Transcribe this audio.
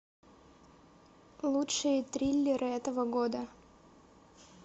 лучшие триллеры этого года